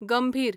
गंभीर